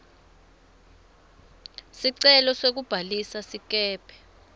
sicelo sekubhalisa sikebhe